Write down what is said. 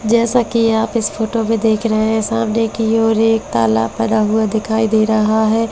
जैसा कि आप इस फोटो में देख रहे है सामने कि ओर एक तालाब बना हुआ दिखाई दे रहा है ।